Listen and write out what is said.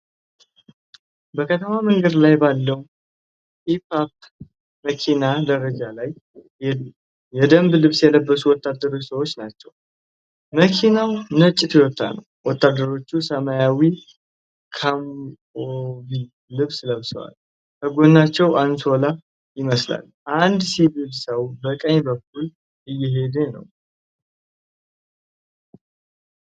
በከተማ መንገድ ላይ ባለው ፒክአፕ መኪና ጀርባ ላይ የደንብ ልብስ የለበሱ ወታደራዊ ሰዎችን ናቸው። መኪናው ነጭ ቶዮታ ነው። ወታደሮቹ ሰማያዊ ካሞፍላዥ ልብስ ለብሰዋል። ከጎናቸውም አንሶላ ይመስላል። አንድ ሲቪል ሰው በቀኝ በኩል እየሄደን ነው?